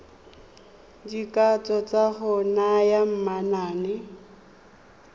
dikatso tsa go naya manane